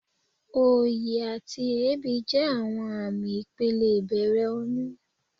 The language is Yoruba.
Òyì àti èébì jẹ́ àwọn àmì ìpele ìbẹ̀rẹ̀ oyún.